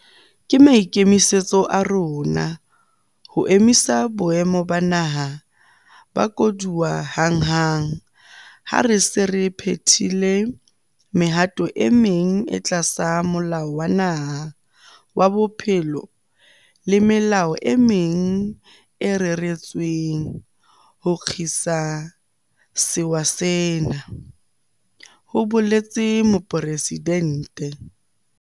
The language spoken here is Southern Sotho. "Ke maikemisetso a rona ho emisa Boemo ba Naha ba Koduwa hanghang ha re se re phethile mehato e meng e tlasa Molao wa Naha wa Bophelo le melao e meng e reretsweng ho kgina sewa sena," ho boletse Mopresidente.